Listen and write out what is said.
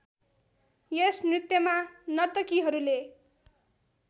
यस नृत्यमा नर्तकीहरूले